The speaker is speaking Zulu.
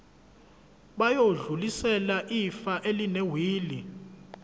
bayodlulisela ifa elinewili